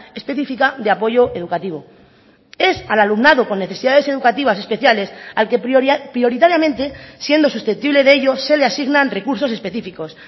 especifica de apoyo educativo es al alumnado con necesidades educativas especiales al que prioritariamente siendo susceptible de ello se le asignan recursos específicos